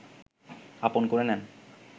আপন করে নেন